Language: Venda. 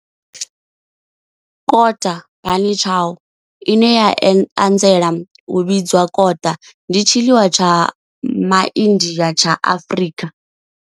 Kota bunny chow, ine ya anzela u vhidzwa kota, ndi tshiḽiwa tsha MaIndia tsha Afrika.